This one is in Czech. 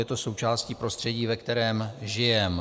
Je to součástí prostředí, ve kterém žijeme.